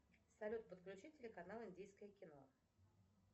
салют подключи телеканал индийское кино